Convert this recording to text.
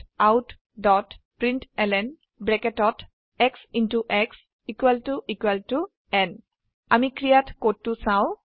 Systemoutprintlnশ্ব শ্ব ন আমি ক্ৰীয়াত কোডটো চাও